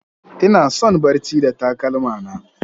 Ina son barci da takalma na.